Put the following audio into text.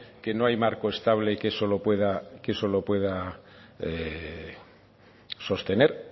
que no hay marco estable que eso lo pueda sostener